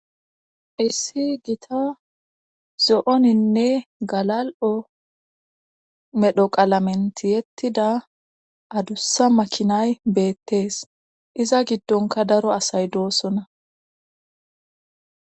issi gita zo7oninne galal7o medhoqalamenti yettida adussa makinay beettees iza giddonka daro asay doosona